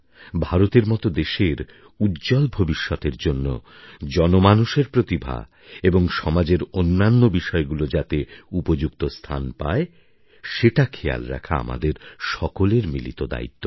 ভারতের মতো দেশের উজ্জ্বল ভবিষ্যতের জন্য জনমানুষের প্রতিভা এবং সমাজের অন্যান্য বিষয়গুলি যাতে উপযুক্ত স্থান পায় সেটা খেয়াল রাখা আমাদের সকলের মিলিত দায়িত্ব